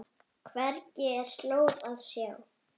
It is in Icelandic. Hvergi er slóð að sjá.